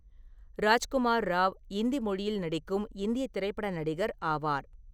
ராஜ்குமார் ராவ் இந்தி மொழியில் நடிக்கும் இந்திய திரைப்பட நடிகர் ஆவார்.